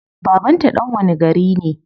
Baban ta dan wani gari ne?